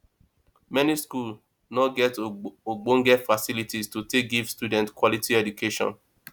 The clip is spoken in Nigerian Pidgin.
many schools no get ogbonge facilities to take give student quality education